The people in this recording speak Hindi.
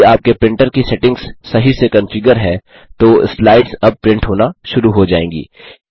यदि आपके प्रिंटर की सेटिंग्स सही से कन्फिगर है तो स्लाइड्स अब प्रिंट होना शुरू हो जाएँगी